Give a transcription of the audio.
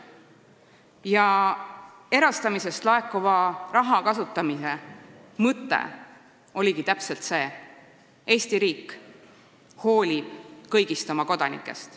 Ja erastamisest laekuva raha kasutamise mõte oligi täpselt see: Eesti riik hoolib kõigist oma kodanikest.